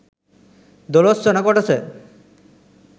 දොලොස්වන කොටස